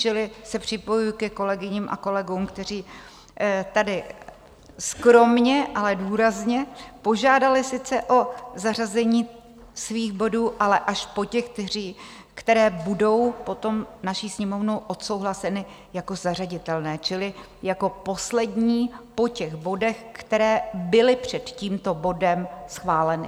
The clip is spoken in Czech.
Čili se připojuji ke kolegyním a kolegům, kteří tady skromně, ale důrazně požádali sice o zařazení svých bodů, ale až po těch, které budou potom naší Sněmovnou odsouhlaseny jako zařaditelné, čili jako poslední po těch bodech, které byly před tímto bodem schváleny.